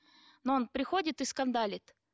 но он приходит и скандалит